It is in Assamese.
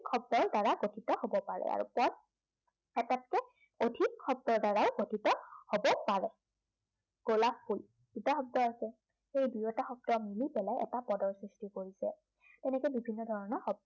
শব্দৰ দ্বাৰা গঠিত হ'ব পাৰে। আৰু পদ এটাতকৈ অধিক শব্দৰ দ্বাৰাই গঠিত হ'ব পাৰে। গোলাপ ফুল দুটা শব্দ আছে, সেই দুয়োটা শব্দই মিলি পেলাই এটা পদৰ সৃষ্টি কৰিছে। তেনেকে বিভিন্ন ধৰণৰ